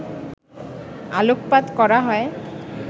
আলোকপাত করা হয়